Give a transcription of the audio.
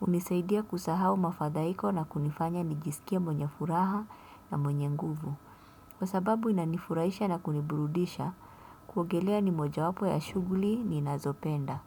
Hunisaidia kusahau mafadhaiko na kunifanya nijisikie mwenye furaha na mwenye nguvu. Kwa sababu inanifurahisha na kuniburudisha, kuogelea ni mojawapo ya shughuli ninazopenda.